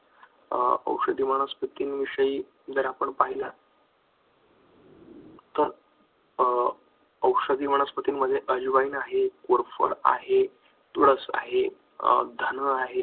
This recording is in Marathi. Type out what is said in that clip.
औषधी वनस्पती विषयी जर आपण पाहिलं तर औषधी वनस्पतींमध्ये अजवाइन आहे, कोरफड आहे, तुळस आहे, धनवा आहे.